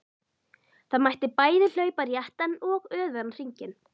Það mátti bæði hlaupa réttan og öfugan hring.